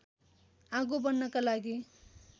आगो बन्नका लागि